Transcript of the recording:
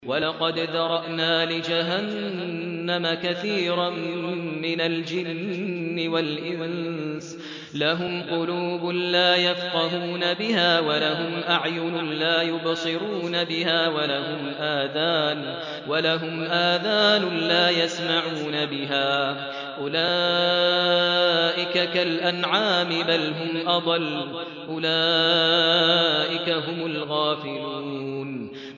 وَلَقَدْ ذَرَأْنَا لِجَهَنَّمَ كَثِيرًا مِّنَ الْجِنِّ وَالْإِنسِ ۖ لَهُمْ قُلُوبٌ لَّا يَفْقَهُونَ بِهَا وَلَهُمْ أَعْيُنٌ لَّا يُبْصِرُونَ بِهَا وَلَهُمْ آذَانٌ لَّا يَسْمَعُونَ بِهَا ۚ أُولَٰئِكَ كَالْأَنْعَامِ بَلْ هُمْ أَضَلُّ ۚ أُولَٰئِكَ هُمُ الْغَافِلُونَ